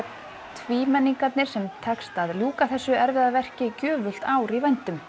tvímenningarnir sem tekst að ljúka þessu erfiða verki gjöfult ár í vændum